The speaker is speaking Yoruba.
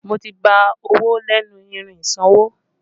Mo ti gba owó lẹ́nu irin ìsanwó